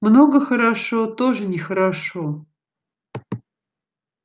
много хорошо тоже нехорошо